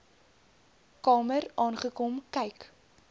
kamer aangekom kyk